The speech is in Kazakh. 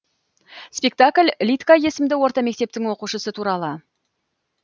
спектакль лидка есімді орта мектептің оқушысы туралы